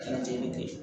Kɛra ten ne tɛ